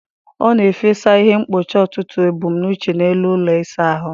Ọ na-efesa ihe mkpocha ọtụtụ ebumnuche n'elu ụlọ ịsa ahụ.